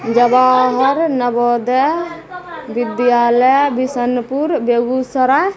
Jawahar Navodaya Vidyalaya Bishanpur Begusarai.